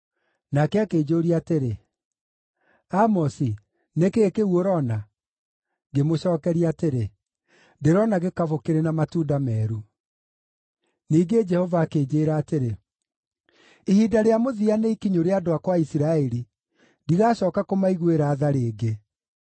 Nake akĩnjũũria atĩrĩ, “Amosi, nĩ kĩĩ kĩu ũroona?” Ngĩmũcookeria atĩrĩ, “Ndĩrona gĩkabũ kĩrĩ na matunda meeru.” Ningĩ Jehova akĩnjĩĩra atĩrĩ, “Ihinda rĩa mũthia nĩ ikinyu rĩa andũ akwa a Isiraeli; ndigacooka kũmaiguĩra tha rĩngĩ.”